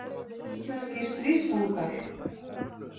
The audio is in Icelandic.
Rússneskir stríðsfangar.